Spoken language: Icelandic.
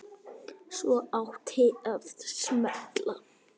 Svo átti að smella.